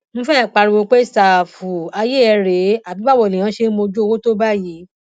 mo fẹẹ pariwo pé ṣàfùfù ayé ẹ rèé àbí báwo lèèyàn ṣe ń mójú owó tó báyìí